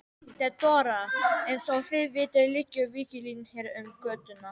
THEODÓRA: Eins og þið vitið liggur víglína hér um götuna.